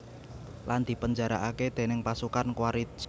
Lan dipenjarakaké déning pasukan Quaritch